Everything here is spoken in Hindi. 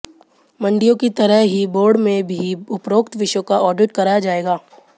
मंडियों की तरह ही बोर्ड में भी उपरोक्त विषयों का ऑडिट कराया जाएगा